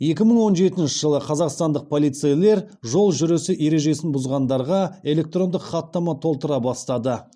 екі мың он жетінші жылы қазақстандық полицейлер жол жүрісі ережесін бұзғандарға электрондық хаттама толтыра бастады